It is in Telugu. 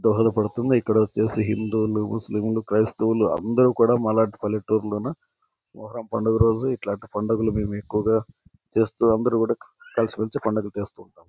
దోహదపడుతుంది. ఇక్కడ కూడా హిందువు లు ముస్లిం లు క్రిస్తివులు అందరూ కూడా మా లాంటి పల్లెటూరు లోన ఒక పండగ రోజు ఇటువంటి పండగలు అందరు కూడా కలిసిమెలిసి పండగ చేస్తాం.